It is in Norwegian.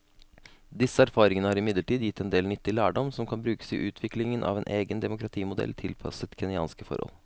Disse erfaringene har imidlertid gitt en del nyttig lærdom som kan brukes i utviklingen av en egen demokratimodell tilpasset kenyanske forhold.